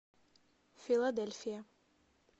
филадельфия